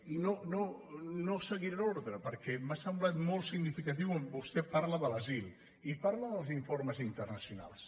i no no seguiré l’ordre perquè m’ha semblat molt significa·tiu on vostè parla de l’asil i parla dels informes in·ternacionals